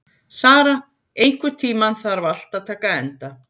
Sara, einhvern tímann þarf allt að taka enda.